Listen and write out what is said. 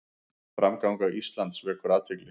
Framganga Íslands vekur athygli